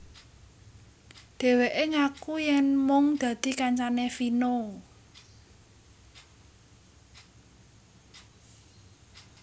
Dheweke ngaku yen mung dadi kancane Vino